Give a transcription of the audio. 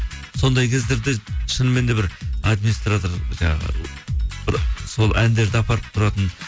сондай кездерде шынымен де бір администратор жаңағы бір сол әндерді апарып тұратын